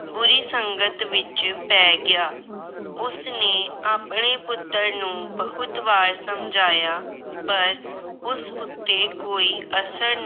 ਬੁਰੀ ਸੰਗਤ ਵਿੱਚ ਪੈ ਗਿਆ। ਉਸਨੇ ਆਪਣੇ ਪੁੱਤਰ ਨੂੰ ਬਹੁਤ ਵਾਰ ਸਮਝਾਇਆ ਪਰ ਉਸ ਉਤੇ ਕੋਈ ਅਸਰ